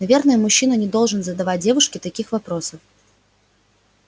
наверное мужчина не должен задавать девушке таких вопросов